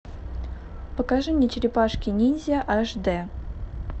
покажи мне черепашки ниндзя аш дэ